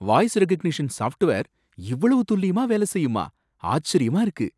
Voice recognition software இவ்வளவு துல்லியமா வேலை செய்யுமா! ஆச்சரியமா இருக்கு.